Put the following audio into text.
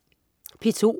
P2: